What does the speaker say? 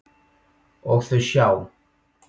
Og þau sjá.